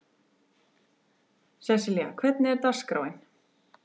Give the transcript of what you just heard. Sesselja, hvernig er dagskráin?